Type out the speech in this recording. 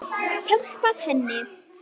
Hjálpað henni.